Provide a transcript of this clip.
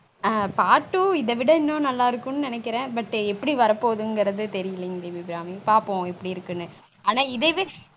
on part two இத விட இன்னும் நல்லா இருக்கும் நெனைக்கிறன் but எப்பிடி வர போகுதுனுங்குறது தெரிலீங்க தேவி அபிராமி பாப்பொம் எப்பிடி இருக்குனு